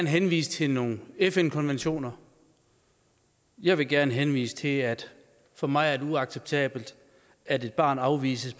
henvise til nogle fn konventioner jeg vil gerne henvise til at for mig er det uacceptabelt at et barn afvises